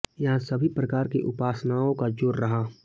यहां सभी प्रकार की उपासनाओं का जोर रहा